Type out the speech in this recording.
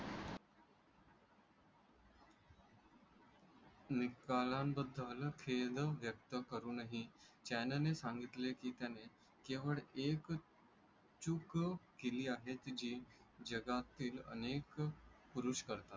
निकालाबद्दल खेद व्यक्त करूनहि चानने सांगितले की केवळ एक चूक केली आहे जी जगातील अनेक पुरुष करतात.